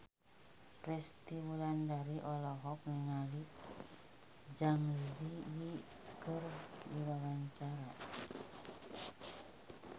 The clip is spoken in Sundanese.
Resty Wulandari olohok ningali Zang Zi Yi keur diwawancara